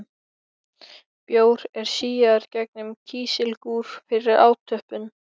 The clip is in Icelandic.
Bjór er síaður gegnum kísilgúr fyrir átöppun.